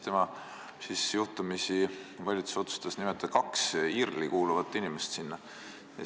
Tollal juhtumisi valitsus otsustas sinna nimetada kaks IRL-i kuuluvat inimest.